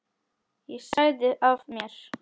Ég sagði af mér.